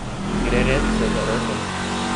Gre res za zaroto?